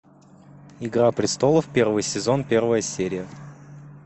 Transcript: игра престолов первый сезон первая серия